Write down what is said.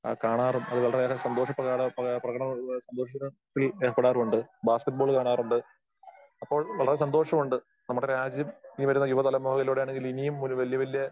കാണാറും അത് വളരെ ഏറെ സന്തോഷ പ്രകട പ്രക പ്രകട സന്തോഷത്തിൽ ഏർപ്പെടാനും ഉണ്ട്, ബാസ്കറ്റ് ബോൾ കാണാറുണ്ട്. അപ്പോൾ വളരെ സന്തോഷമുണ്ട്. നമ്മുടെ രാജ്യം ഇനി വരുന്ന യുവതലമുറയിലൂടെ ആണെങ്കിൽ ഇനിയും ഒരു വല്യ വല്യ ആ